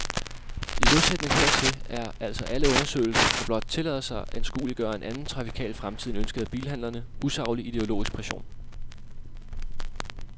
I modsætning hertil er altså alle undersøgelser, der blot tillader sig anskueliggøre en anden trafikal fremtid end ønsket af bilhandlerne, usaglig ideologisk pression.